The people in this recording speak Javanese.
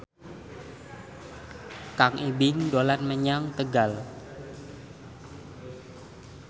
Kang Ibing dolan menyang Tegal